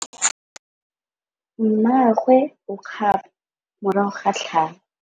Mmagwe o kgapô morago ga tlhalô.